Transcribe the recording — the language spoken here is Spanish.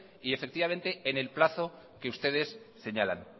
y en el plazo que ustedes señalan